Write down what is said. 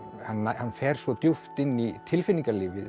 hann hann fer svo djúpt inn í tilfinningalífið